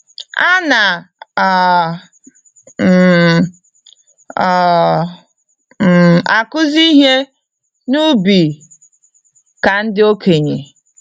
Ana um m um m akuzi ihe n'ubi ka ndị okenye.